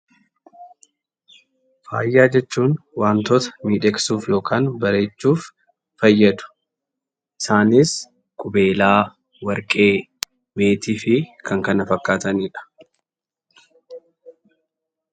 Faaya jechuun wantoota miidhagsuuf yookaan bareechuuf fayyadu. Isaanis qubeelaa, warqee, meetii fi kan kana fakkaatanidha.